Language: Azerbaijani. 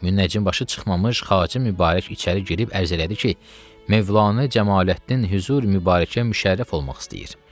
Münnəcim başı çıxmamış xacə Mübarək içəri girib ərizə elədi ki, Mövlanə Cəmaləddin hüzur Mübarəkə müşərrəf olmaq istəyir.